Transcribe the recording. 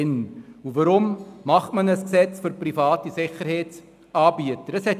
Warum macht man ein Gesetz für private Sicherheitsanbieter?